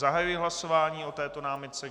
Zahajuji hlasování o této námitce.